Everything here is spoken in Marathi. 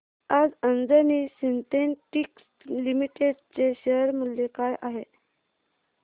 आज अंजनी सिन्थेटिक्स लिमिटेड चे शेअर मूल्य काय आहे